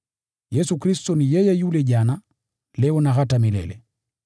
Yesu Kristo ni yeye yule jana, leo na hata milele.